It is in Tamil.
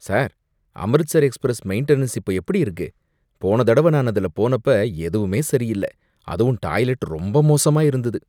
சார், அம்ரிட்சர் எக்ஸ்பிரஸ் மெயின்டனன்ஸ் இப்போ எப்படி இருக்கு? போன தடவ நான் அதுல போனப்ப எதுவுமே சரியில்ல. அதுவும் டாய்லெட் ரொம்ப மோசமா இருந்தது.